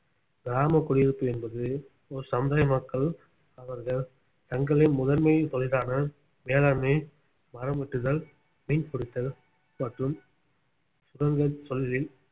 கிராம குடியிருப்பு என்பது ஒரு சமுதாய மக்கள் அவர்கள் தங்களின் முதன்மை தொழிலான வேளாண்மை மரம் வெட்டுதல் மீன் பிடித்தல் மற்றும் சுரங்கத் தொழிலில்